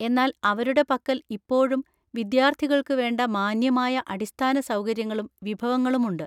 എന്നാൽ അവരുടെ പക്കല്‍ ഇപ്പോഴും വിദ്യാർത്ഥികൾക്കു വേണ്ട മാന്യമായ അടിസ്ഥാന സൗകര്യങ്ങളും വിഭവങ്ങളുമുണ്ട്.